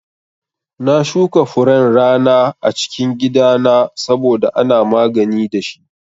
Na shuka furen rana a cikin gida na saboda ana magani dashi